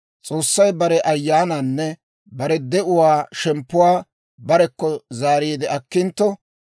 S'oossay bare Ayyaanaanne bare de'uwaa shemppuwaa barekko zaariide akkintto,